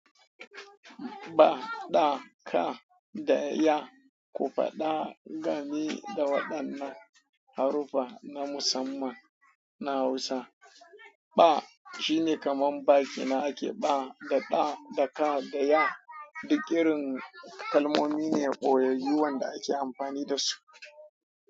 Ba, ɗa, ka, da, ya. Ku faɗa gami da waɗannan haruffa na musamman na Hausa. Ɓa shine kamar ɓa, ka da ɗa. Duk irin kalmomi ne ɓoyayyu wanda ake amfani da su.